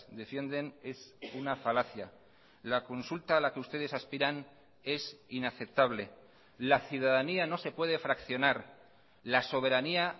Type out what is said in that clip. defienden es una falacia la consulta a la que ustedes aspiran es inaceptable la ciudadanía no se puede fraccionar la soberanía